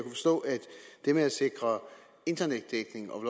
det med at sikre internetdækning og